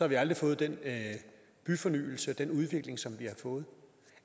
vi aldrig fået den byfornyelse og den udvikling som vi har fået